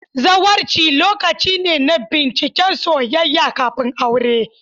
Zawarci lokaci ne na binciken soyayya kafin aure.